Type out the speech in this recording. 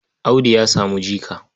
Audu ya samu jika.